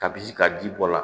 Kabi ka ji bɔ a la